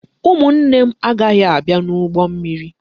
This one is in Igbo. Ụmụnne m agaghị abịa n'ụgbọ mmiri.